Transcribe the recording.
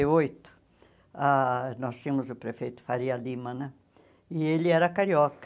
e oito ah, nós tínhamos o prefeito Faria Lima né, e ele era carioca.